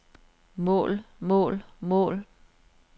mål mål mål